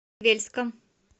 вельском